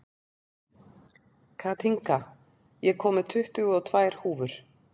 Kathinka, ég kom með tuttugu og tvær húfur!